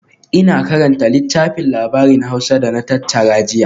Ina karanta littafin labarin Hausa da na tattara jiya